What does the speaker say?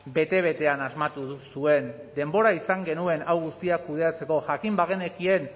bete betean asmatu duzuen denbora izan genuen hau guztia kudeatzeko jakin bagenekien